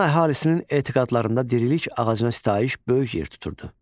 Manna əhalisinin etiqadlarında dirilik ağacına sitayiş böyük yer tuturdu.